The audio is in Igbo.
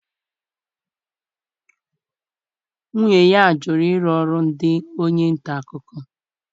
Nwunye ya jụrụ ịrụ ọrụ dị onye nta akụkọ.